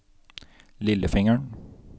lillefingeren